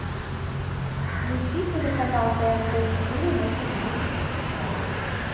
включи телеканал тнт четыре на ти ви